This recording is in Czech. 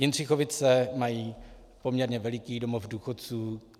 Jindřichovice mají poměrně veliký domov důchodců.